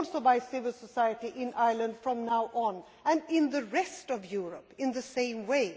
by civil society in Ireland from now on, and in the rest of Europe in the same way.